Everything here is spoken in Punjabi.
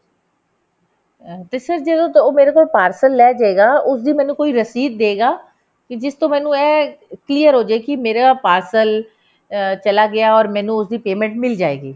ਅਹ ਤੇ sir ਜਦੋਂ ਮੇਰੇ ਕੋਲ parcel ਲੈਜੇਗਾ ਤੇ ਉਸਦੀ ਮੈਨੂੰ ਕੋਈ receipt ਦੇਗਾ ਕਿ ਜਿਸ ਤੋਂ ਮੈਨੂੰ ਇਹ clear ਹੋ ਜੇ ਕਿ ਮੇਰਾ parcel ਅ ਚੱਲਾ ਗਿਆ or ਮੈਨੂੰ ਉਸਦੀ payment ਮਿਲ ਜਾਏਗੀ